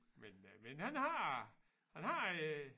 Men øh men han har han har øh